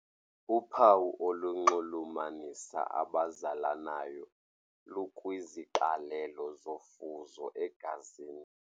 Uphawu olunxulumanisa abazalanayo lukwiziqalelo zofuzo egazini.